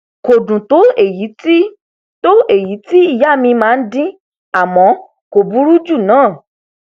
kò dùn tó èyí tó èyí tí ìyá mi máa ń dín àmọ kò burú jù náà